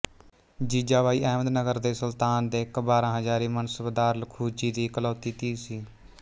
ਜੀਜਾਬਾਈ ਅਹਿਮਦ ਨਗਰ ਦੇ ਸੁਲਤਾਨ ਦੇ ਇੱਕ ਬਾਰਾਂ ਹਜ਼ਾਰੀ ਮਨਸਬਦਾਰ ਲਖੂਜੀ ਦੀ ਇਕਲੌਤੀ ਧੀ ਸੀ